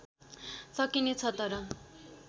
सकिने छ तर